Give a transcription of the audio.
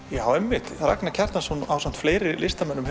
já einmitt Ragnar Kjartansson hefur ásamt fleiri listamönnum